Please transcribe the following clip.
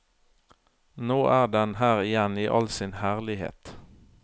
Nå er den her igjen i all sin herlighet.